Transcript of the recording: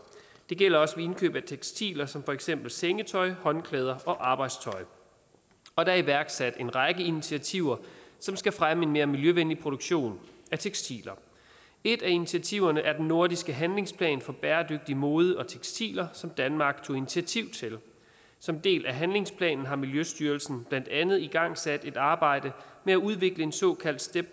gælder også ved indkøb af tekstiler som for eksempel sengetøj håndklæder og arbejdstøj og der er iværksat en række initiativer som skal fremme en mere miljøvenlig produktion af tekstiler et af initiativerne er den nordiske handlingsplan for bæredygtig mode og tekstiler som danmark tog initiativ til som en del af handlingsplanen har miljøstyrelsen blandt andet igangsat et arbejde med at udvikle en såkaldt step